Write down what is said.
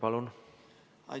Palun!